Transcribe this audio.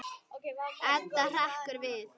Edda hrekkur við.